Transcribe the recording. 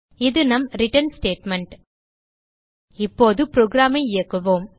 இது நம் return statement இப்போது programஐ இயக்குவோம்